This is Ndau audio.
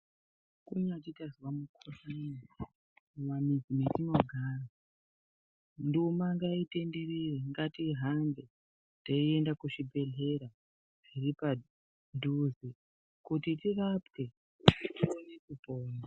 Kunyati tazwa mukuhlani mumamizi metinogara. Nduma ngaitenderere, ngatihambe teienda kuzvibhedhlera zviripadhuze kuti tirapwe tione kipona.